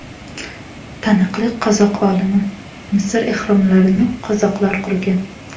Taniqli qozoq olimi: Misr ehromlarini qozoqlar qurgan.